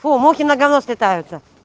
оо мухи на говно слетаются